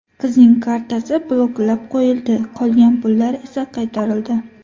Qizning kartasi bloklab qo‘yildi, qolgan pullar esa qaytarildi.